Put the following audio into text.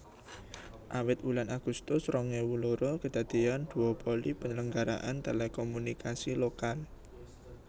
Awit wulan Agustus rong ewu loro kedadeyan duopoli penyelenggaraan telekomunikasi lokal